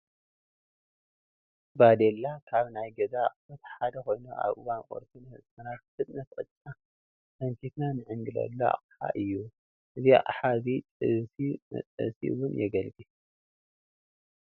ባዴላ ካብ ናይ ገዛ ኣቕሑት ሓደ ኾይኑ ኣብ እዋን ቁርሲ ንህፃናት ብፍጥነት ቅጫ ሰንኪትና ንዕንግለሉ ኣቕሓ እዩ፡፡ እዚ ኣቕሓ እዚ ጥብሲ መጥበሲ እውን የገልግል፡፡